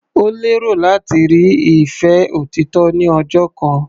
Ó lérò láti rí ìfẹ́ òtítọ́ ní ọjọ́ kan.